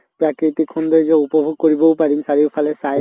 প্ৰাকৃতিক সৌন্দৰ্য্য় উপভোক কৰিবও পাৰিম চাৰিও ফালে চাই মেলি